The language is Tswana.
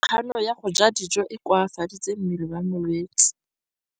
Kganô ya go ja dijo e koafaditse mmele wa molwetse.